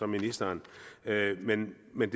ministeren men men